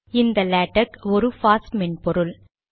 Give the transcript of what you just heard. இந்த லேடக் ஒரு பாஸ் மென்பொருள்